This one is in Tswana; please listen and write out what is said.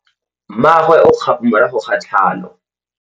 Mmagwe o kgapô morago ga tlhalô.